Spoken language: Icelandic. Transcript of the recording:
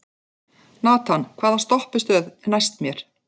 Nathan, hvaða stoppistöð er næst mér?